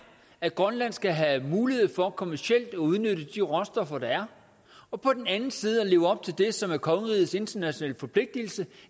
at grønland skal have mulighed for kommercielt at udnytte de råstoffer der er og på den anden side at vi lever op til det som er kongerigets internationale forpligtelse